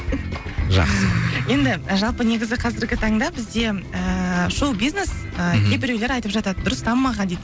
жақсы енді жалпы негізі қазіргі таңда бізде ііі шоу бизнес і кейбіреулер айтып жатады дұрыс дамымаған дейді